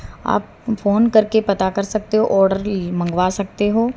आप फोन करके पता कर सकते हो ऑर्डर मंगवा सकते हो।